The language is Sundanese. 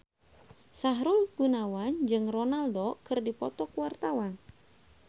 Sahrul Gunawan jeung Ronaldo keur dipoto ku wartawan